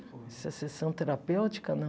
Se é sessão terapêutica, não.